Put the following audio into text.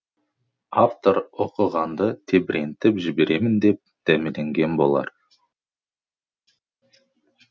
автор оқығанды тебірентіп жіберемін деп дәмеленген болар